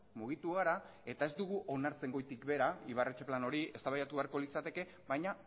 mugitu gara eta ez dugu onartzen goitik behera ibarretxe plan hori eztabaidatu beharko litzateke baina